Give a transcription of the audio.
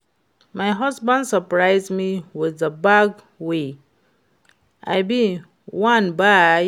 My husband surprise me with the bag wey I bin wan buy